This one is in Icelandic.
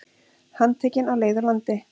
Handtekinn á leið úr landi